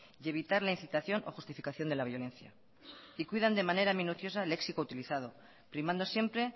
y evitar la incitación o justificación de la violencia y cuidan de manera minuciosa el éxito utilizado primando siempre